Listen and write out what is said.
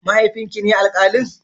Mahaifin ki ne alkalin?